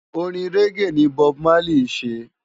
Órin régé ni Bòb Málí sé